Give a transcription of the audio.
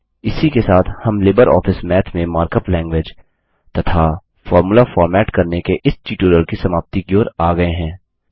इसी के साथ हम लिबरऑफिस मैथ में मार्कअप लैंगग्वेज तथा फोर्मुला फॉर्मेट करने के इस ट्यूटोरियल की समाप्ति की ओर आ गये हैं